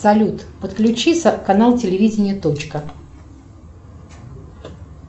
салют подключи канал телевидения точка